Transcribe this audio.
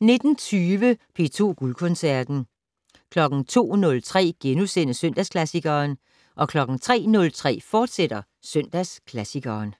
fortsat 19:20: P2 Guldkoncerten 02:03: Søndagsklassikeren * 03:03: Søndagsklassikeren, fortsat